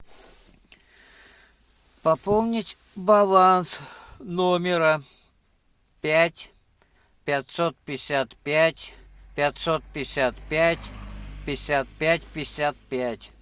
пополнить баланс номера пять пятьсот пятьдесят пять пятьсот пятьдесят пять пятьдесят пять пятьдесят пять